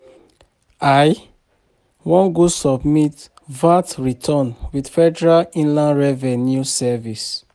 I wan go submit VAT returns with Federal Inland Revenue Service.